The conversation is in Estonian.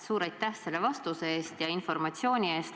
Suur aitäh selle vastuse eest ja informatsiooni eest!